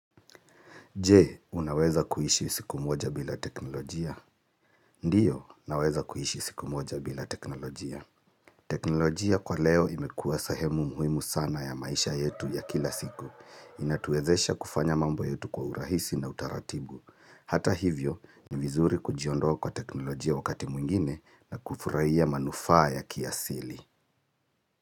Je, unaweza kuishi siku moja bila teknolojia? Ndio, naweza kuishi siku moja bila teknolojia. Teknolojia kwa leo imekuwa sehemu muhimu sana ya maisha yetu ya kila siku. Inatuwezesha kufanya mambo yetu kwa urahisi na utaratibu. Hata hivyo, ni vizuri kujiondoa kwa teknolojia wakati mwingine na kufurahia manufaa ya kiasili.